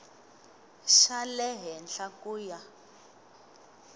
xa le henhla ku ya